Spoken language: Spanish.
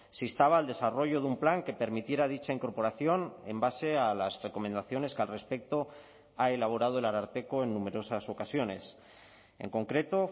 se instaba al desarrollo de un plan que permitiera dicha incorporación en base a las recomendaciones que al respecto ha elaborado el ararteko en numerosas ocasiones en concreto